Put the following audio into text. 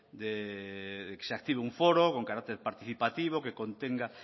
de que se active un foro con carácter participativo que contenga